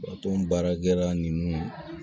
baarakɛla ninnu